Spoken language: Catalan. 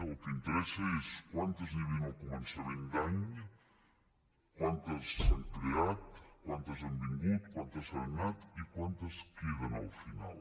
el que interessa és quantes n’hi havien al començament d’any quantes se n’han creat quantes n’han vingut quantes se n’han anat i quantes en queden al final